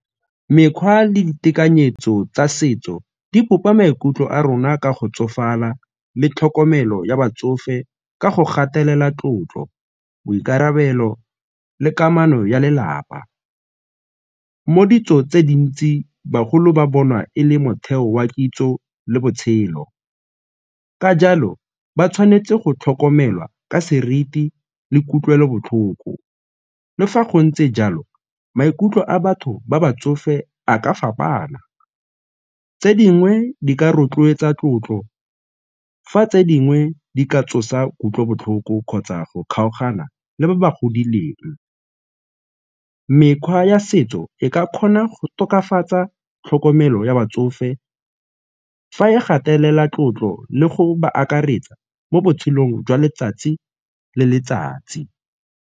Mekgwa le ditekanyetso tsa setso di bopa maikutlo a rona ka go tsofala le tlhokomelo ya batsofe ka go gatelela tlotlo, boikarabelo le kamano ya lelapa. Mo ditsong tse dintsi bagolo ba bonwa e le motheo wa kitso le botshelo, ka jalo ba tshwanetse go tlhokomelwa ka seriti le kutlwelobotlhoko. Le fa go ntse jalo, maikutlo a batho ba ba tsofe a ka fapana tse dingwe di ka rotloetsa tlotlo fa tse dingwe di ka tsosa kutlobotlhoko kgotsa go kgaogana le ba ba godileng. Mekgwa ya setso e ka kgona go tokafatsa tlhokomelo ya batsofe fa e gatelela tlotlo le go ba akaretsa mo botshelong jwa letsatsi le letsatsi.